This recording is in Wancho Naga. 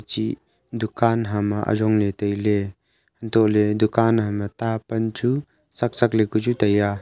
chih dukan hama ajongley tailey antohley dukan hama ta pan chu chakchak ley ka chu taiya.